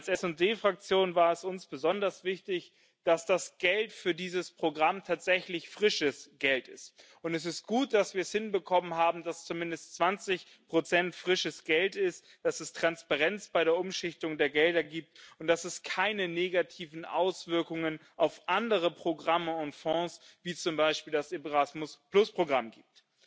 Als SD Fraktion war es uns besonders wichtig, dass das Geld für dieses Programm tatsächlich frisches Geld ist, und es ist gut, dass wir es hinbekommen haben, dass zumindest zwanzig Prozent frisches Geld sind, dass es Transparenz bei der Umschichtung der Gelder gibt und dass es keine negativen Auswirkungen auf andere Programme und Fonds wie zum Beispiel das Erasmus Programm gibt.